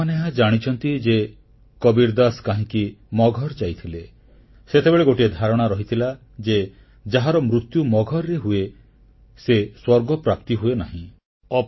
ଆପଣମାନେ ଏହା ଜାଣିଛନ୍ତି ଯେ କବୀର ଦାସ କାହିଁକି ମଗହର ଯାଇଥିଲେ ସେତେବେଳେ ଗୋଟିଏ ଧାରଣା ରହିଥିଲା ଯେ ଯାହାର ମୃତ୍ୟୁ ମଗହରରେ ହୁଏ ସେ ସ୍ୱର୍ଗପ୍ରାପ୍ତି ହୁଏନାହିଁ